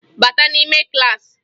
Bata n'ime klaasị!